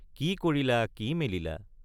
কি কৰিলা কি মেলিলা!